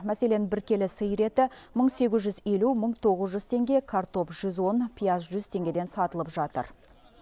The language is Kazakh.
мәселен бір келі сиыр еті мың сегіз жүз елу мың тоғыз жүз теңге картоп жүз он пияз жүз теңгеден сатылып жатыр